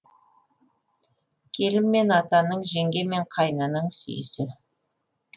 келін мен атаның жеңге мен қайнының сүйісі